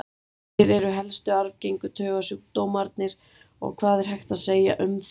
Hverjir eru helstu arfgengu taugasjúkdómarnir og hvað er hægt að segja um þá?